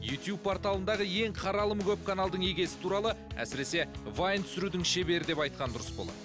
ютуб порталындағы ең қаралымы көп каналдың иегесі туралы әсіресе вайн түсірудің шебері деп айтқан дұрыс болар